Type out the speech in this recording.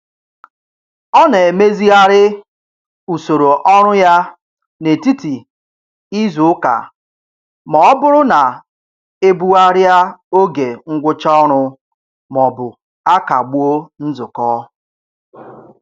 Ọ na-emezigharị usoro ọrụ ya n'etiti izuụka ma ọ bụrụ na e bugharịa oge ngwụcha ọrụ maọbụ a kagbuo nzukọ.